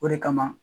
O de kama